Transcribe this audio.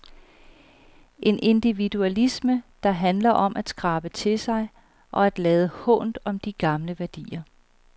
En individualisme, der handler om at skrabe til sig og at lade hånt om de gamle værdier.